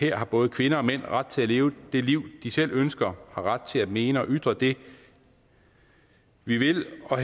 har både kvinder og mænd ret til leve det liv de selv ønsker og ret til mene og ytre det vi vil og